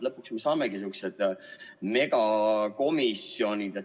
Lõpuks me saamegi sihukesed megakomisjonid.